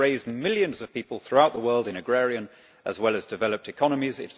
It has raised millions of people throughout the world in agrarian, as well as developed, economies.